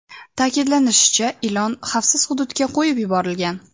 Ta’kidlanishicha, ilon xavfsiz hududga qo‘yib yuborilgan.